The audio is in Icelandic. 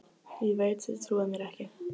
Ég veit þið trúið mér ekki.